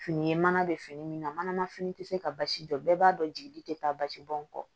Fini ye mana bɛ fini min na manama fini tɛ se ka basi jɔ bɛɛ b'a dɔn jigili tɛ taa basi bɔn kɔ